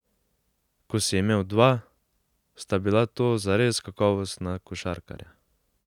Ko si imel dva, sta bila to zares kakovostna košarkarja.